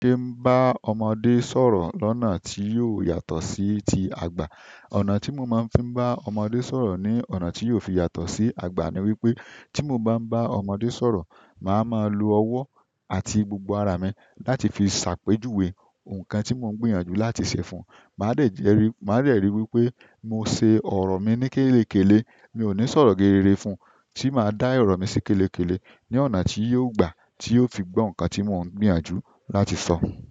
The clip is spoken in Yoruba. Kí n bá ọmọdé sọ̀rọ̀ lọ́nà tí yóò yàtọ̀ sí tí àgbà. Ọ̀nà tí mo máa ń fi bá ọmọdé sọ̀rọ̀ ní ọ̀nà tí yóò fi yàtọ̀ sí àgbà ni wípé tí mo ń bá ń bá ọmọdé sọ̀rọ̀ máa mo lo ọwọ àti gbogbo ara mi láti fi ṣe àpèjúwe ǹkan tí mo ń gbìyànjú láti ṣe fún. Máa dẹ̀ rí wípé mo ṣe ọrọ mi ní kẹlẹkẹlẹ mi ò ní sọ̀rọ̀ geere fún. Tí máa dá ọrọ si kẹ́lẹ́kẹ́lẹ́ ní ọ̀nà tí yóò gbà tí o fin gbọ́ ǹkan tí mo ń gbìyànjú láti sọ.